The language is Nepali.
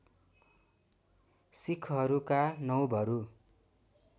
सिक्‍खहरूका नौवहरू